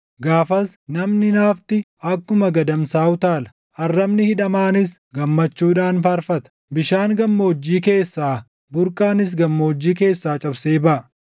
Gaafas namni naafti akkuma gadamsaa utaala; arrabni hidhamaanis gammachuudhaan faarfata. Bishaan gammoojjii keessaa, burqaanis gammoojjii keessaa cabsee baʼa.